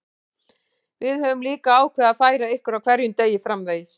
Við höfum líka ákveðið að færa ykkur á hverjum degi framvegis.